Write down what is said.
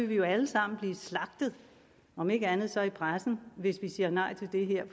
vi jo alle sammen blive slagtet om ikke andet så i pressen hvis vi siger nej til det her